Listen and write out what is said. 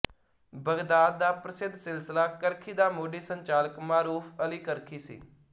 Baghdad ਦਾ ਪ੍ਰਸਿੱਧ ਸਿਲਸਿਲਾ ਕਰਖੀ ਦਾ ਮੋਢੀ ਸੰਚਾਲਕ ਮਾਰੂਫ ਅਲੀ ਕਰਖੀ ਸੀ